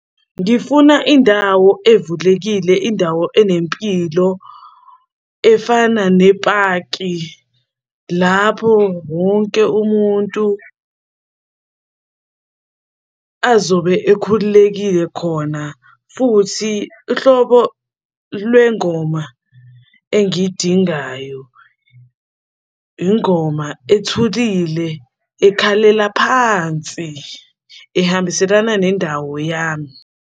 Ngifuna indawo evulekile indawo enempilo efana nepaki, lapho wonke umuntu azobe ekhululekile khona futhi ihlobo lwengoma engiyidingayo. Ingoma ethulile ekhalela phansi ehambiselana nendawo yami.